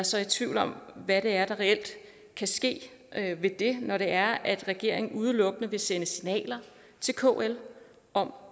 så i tvivl om hvad det er der reelt kan ske ved det når det er at regeringen udelukkende vil sende signaler til kl om